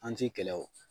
An ti kɛlɛ o